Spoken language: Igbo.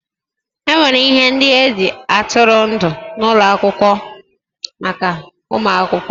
E nwere ihe ndị e ji atụrụ ndụ n'ụlọ akwụkwọ maka ụmụ akwụkwọ